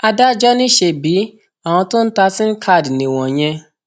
adájọ ni ṣebí àwọn tó ń ta simcard nìwọnyẹn